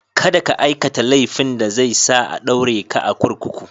Kada ka aikata laifin da zai sa a ɗaure ka a kurkuku.